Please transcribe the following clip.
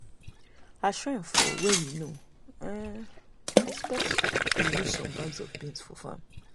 as rain fall wey we no um um expect we lose some bags of beans for farm.